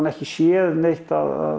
ekki séð neitt